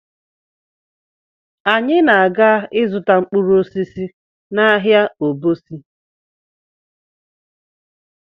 Anyị na- aga ịzụta mkpụrụ osisi n'ahịa Obosi